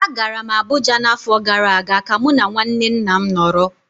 Agara m Abuja n'afọ gara aga ka mụ na nwanne nna m nọrọ